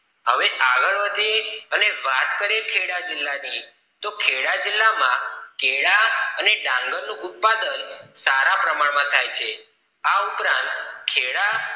હવે આગળ વધીએ અને વાત કરીએ ખેડા જિલ્લાની તો ખેડા જિલ્લામાં ખેડા અને ડાંગર નું ઉત્પાદન સારા પ્રમાણ માં થાય છે આ ઉપરાંત ખેડા